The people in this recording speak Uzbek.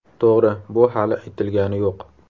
To‘g‘ri, bu hali aytilgani yo‘q.